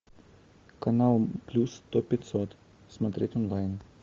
канал плюс сто пятьсот смотреть онлайн